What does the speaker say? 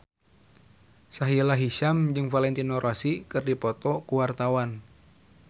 Sahila Hisyam jeung Valentino Rossi keur dipoto ku wartawan